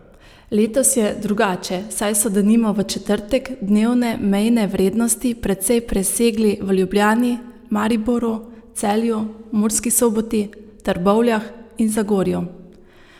Letos je drugače, saj so denimo v četrtek dnevne mejne vrednosti precej presegli v Ljubljani, Mariboru, Celju, Murski Soboti, Trbovljah in Zagorju.